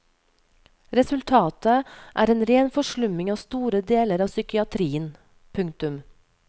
Resultatet er en ren forslumming av store deler av psykiatrien. punktum